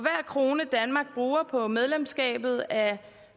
krone danmark bruger på medlemskabet af